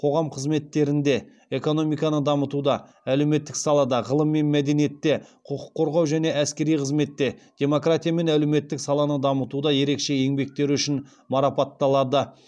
қоғам қызметтерінде экономиканы дамытуда әлеуметтік салада ғылым мен мәдениетте құқық қорғау және әскери қызметте демократия мен әлеуметтік саланы дамытуда ерекше еңбектері үшін марапаталады